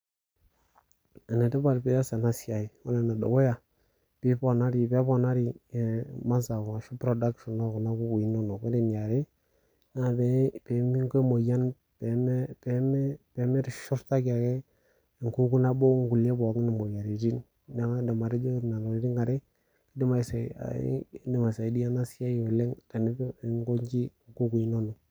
Enetipat pias enasiai. Ore enedukuya, peponari masaa ashu production okuna kukui inonok. Ore eniare, naa peminko emoyian pemeshurtaki ake enkuku nabo nkulie pookin imoyiaritin. Neeku kaidim atejo nena tokiting are, kidim aisaidia enasiai oleng eninkoji nkukui inonok.